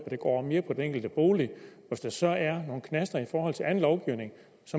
at det går mere på den enkelte bolig og hvis der så er nogle knaster i forhold til anden lovgivning